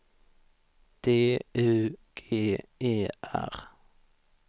D U G E R